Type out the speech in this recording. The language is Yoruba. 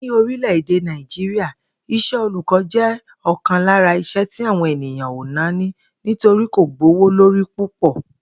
Ní orílè̩-èdè Nàìjíríà, is̩é̩ olùkó̩ jé̩ ò̩kan lára iṣẹ́ tí àwọn ènìyàn ò nání nítorí kò gbówó lórí púpò̩